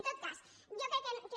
en tot cas jo crec que